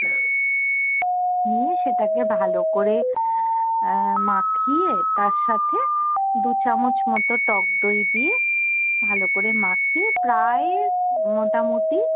নিয়ে সেটা কে ভালো করে আহ মাখিয়ে তার সাথে দু চামচ মতো টক দই দিয়ে ভালো করে মাখিয়ে প্রায় মোটামুটি